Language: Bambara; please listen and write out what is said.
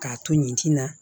K'a to yen tina